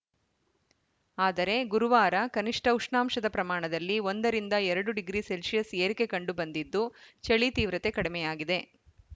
ಆದರೆ ಗುರುವಾರ ಕನಿಷ್ಠ ಉಷ್ಣಾಂಶದ ಪ್ರಮಾಣದಲ್ಲಿ ಒಂದ ರಿಂದ ಎರಡು ಡಿಗ್ರಿ ಸೆಲ್ಸಿಯಸ್‌ ಏರಿಕೆ ಕಂಡುಬಂದಿದ್ದು ಚಳಿ ತೀವ್ರತೆ ಕಡಿಮೆಯಾಗಿದೆ